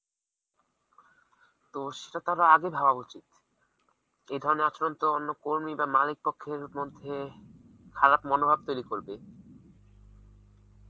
তো সেটা তার আগে ভাবা উচিত এই ধরনের আচরণ তো অন্য কর্মী বা মালিক পক্ষের মধ্যে খারাপ মনোভাব তৈরি করবে